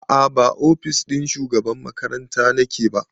A'a ba ofis ɗin shugaban makaranta nake ba